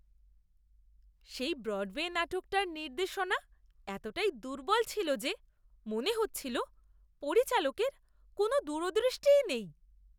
সেই ব্রডওয়ে নাটকটার নির্দেশনা এতটাই দুর্বল ছিল যে মনে হচ্ছিল পরিচালকের কোনও দূরদৃষ্টিই নেই।